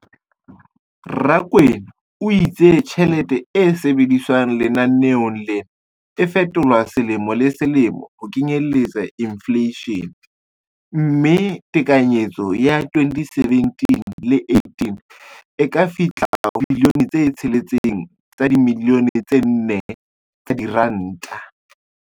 Rakwena o itse tjhelete e sebediswang lenaneong lena e fetolwa selemo le selemo ho kenyelletsa infleishene, mme tekanyetso ya 2017-18 e ka fihla ho R6.4 bilione.